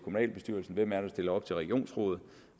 dem eller